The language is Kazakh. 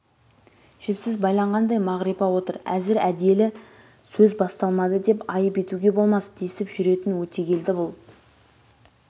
жіпсіз байланғандай мағрипа отыр әзір әделі сөз басталмады деп айып етуге болмас десіп жүретін өтегелді бұл